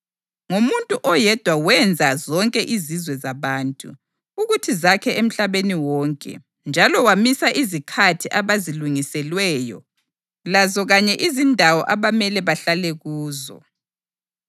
Ngomuntu oyedwa wenza zonke izizwe zabantu, ukuthi zakhe emhlabeni wonke; njalo wamisa izikhathi abazilungiselweyo lazo kanye izindawo abamele bahlale kuzo.